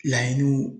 Laɲiniw